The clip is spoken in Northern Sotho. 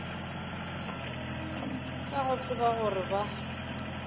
ka go tseba gore ba